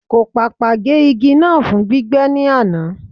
Kò pàpà gé igi náà fún gbígbẹ́ ní àná.